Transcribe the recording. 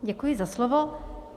Děkuji za slovo.